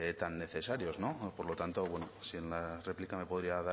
tan necesarios no por lo tanto bueno si en la réplica me podría